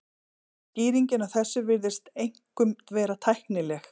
Skýringin á þessu virðist einkum vera tæknileg.